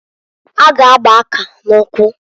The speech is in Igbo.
Ha g' agba akari n'ukwu.